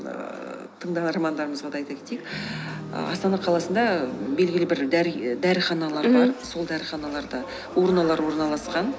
ыыы тыңдармандарымызға да айта кетейік астана қаласында белгілі бір дәріханалар бар сол дәріханаларда урналар орналасқан